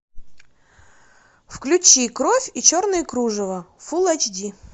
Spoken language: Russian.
включи кровь и черное кружево фул эйч ди